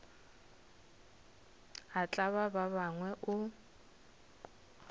a tlaba ba bangwe o